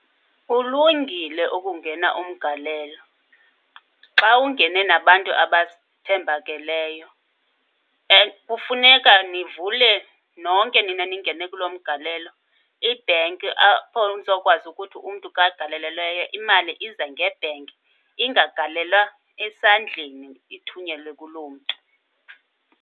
Kulungile ukungena umgalelo xa ungene nabantu abathembakeleyo. And kufuneka nivule nonke nina ningene kulo mgalelo ibhenki apho nizokwazi ukuthi umntu ka agalelelweyo imali ize ngebhenki, ingagalelwa esandleni, ithunyelwe kuloo mntu.